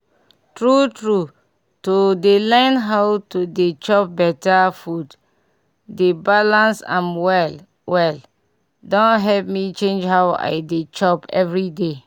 tru tru to dey learn how to dey chop beta food dey balance am well well don help me change how i dey chop everyday